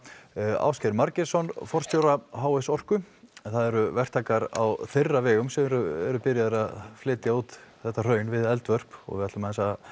Ásgeir Margeirsson forstjóra h s orku en það eru verktakar á þeirra vegum sem eru byrjaðir að flytja út þetta hraun við eldvörp við ætlum að